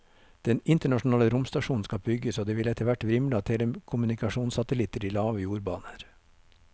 Den internasjonale romstasjonen skal bygges, og det vil etterhvert vrimle av telekommunikasjonssatellitter i lave jordbaner.